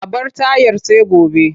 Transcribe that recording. A bar tayar sai gobe.